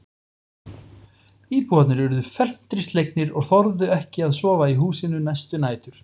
Íbúarnir urðu felmtri slegnir og þorðu ekki að sofa í húsinu næstu nætur.